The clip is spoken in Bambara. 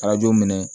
Arajo minɛ